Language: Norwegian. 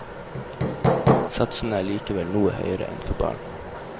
Satsene er likevel noe høyere enn for barn.